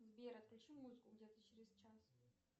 сбер отключи музыку где то через час